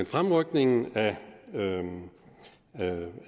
fremrykningen af renoveringen